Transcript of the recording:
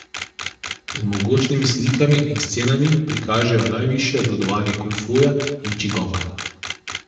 Z mogočnimi slikami in scenami prikažejo najvišje obvladanje kung fuja in či gonga.